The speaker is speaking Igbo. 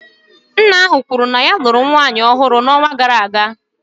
Nna ahụ kwuru na ya lụrụ nwunye ọhụrụ n'ọnwa gara aga